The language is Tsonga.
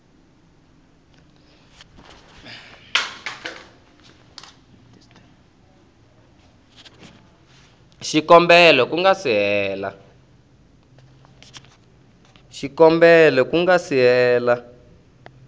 xikombelo ku nga si hela